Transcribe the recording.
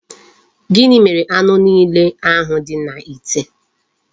Gini mere anu niile ahu di n'ite?